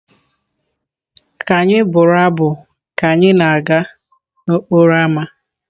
Ka anyị bụrụ abụ ka anyị na-aga n'okporo ámá.